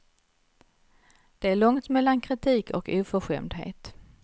Det är långt mellan kritik och oförskämdhet.